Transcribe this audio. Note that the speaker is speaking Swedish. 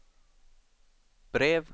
brev